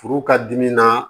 Furu ka dimi na